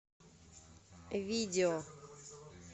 видео